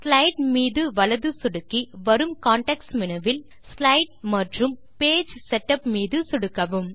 slide மீது வலது சொடுக்கி வரும் கான்டெக்ஸ்ட் மேனு வில் ஸ்லைடு மற்றும் பேஜ் செட்டப் மீது சொடுக்கவும்